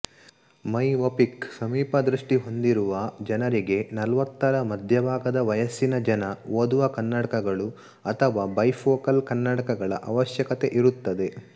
myopic ಸಮೀಪದೃಷ್ಟಿ ಹೊಂದಿರುವ ಜನರಿಗೆ ನಲವತ್ತರ ಮಧ್ಯಭಾಗದ ವಯಸ್ಸಿನ ಜನ ಓದುವ ಕನ್ನಡಕಗಳು ಅಥವಾ ಬೈಫೋಕಲ್ ಕನ್ನಡಕಗಳ ಅವಶ್ಯಕತೆಯಿರುತ್ತದೆ